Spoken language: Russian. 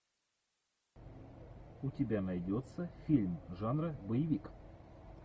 у тебя найдется фильм жанра боевик